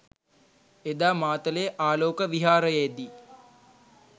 එදා මාතලේ ආලෝක විහාරයේ දී